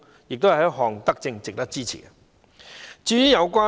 這是一項德政，值得支持。